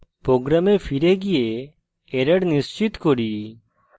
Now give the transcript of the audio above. program ফিরে গিয়ে error নিশ্চিত করি